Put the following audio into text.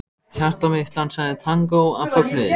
Hjarta mitt dansaði tangó af fögnuði.